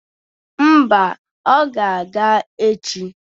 Mba, ọ ga-aga echi